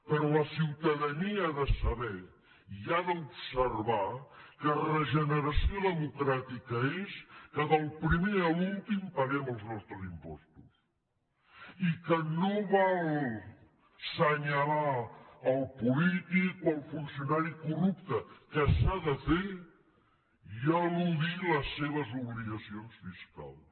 però la ciutadania ha de saber i ha d’observar que regeneració democràtica és que del primer a l’últim paguem els nostres impostos i que no val assenyalar el polític o el funcionari corrupte que s’ha de fer i eludir les seves obligacions fiscals